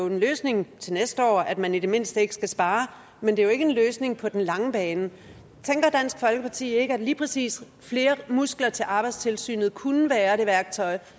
en løsning til næste år at man i det mindste ikke skal spare men det er jo ikke en løsning på den lange bane tænker dansk folkeparti ikke at lige præcis flere muskler til arbejdstilsynet kunne være det værktøj